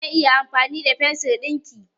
Zan iya amfani da fensir ɗinka?